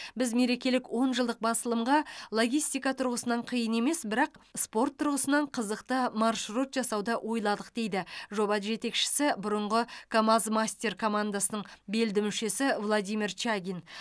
біз мерекелік он жылдық басылымға логистика тұрғысынан қиын емес бірақ спорт тұрғысынан қызықты маршрут жасауды ойладық дейді жоба жетекшісі бұрынғы камаз мастер командасының белді мүшесі владимир чагин